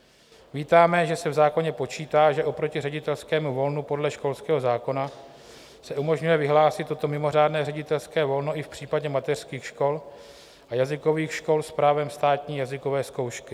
Vítáme, že se v zákoně počítá, že oproti ředitelskému volnu podle školského zákona se umožňuje vyhlásit toto mimořádné ředitelské volno i v případě mateřských škol a jazykových škol s právem státní jazykové zkoušky.